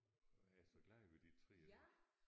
Og jeg er så glad ved de træer